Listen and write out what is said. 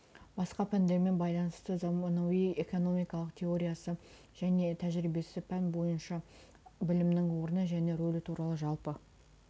басқа пәндермен байланысы заманауи экономиканың теориясы және тәжірибесі пән бойынша білімнің орны және рөлі туралы жалпы